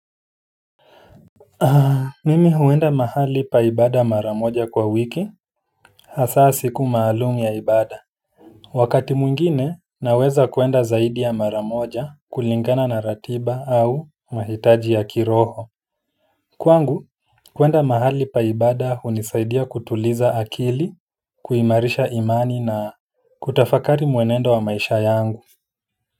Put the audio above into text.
Mimi huenda mahali pa ibada maramoja kwa wiki hasa siku maalum ya ibada wakati mwingine naweza kwenda zaidi ya maramoja kulingana na ratiba au mahitaji ya kiroho kwangu, kwenda mahali pa ibada hunisaidia kutuliza akili, kuimarisha imani na kutafakari mwenendo wa maisha yangu.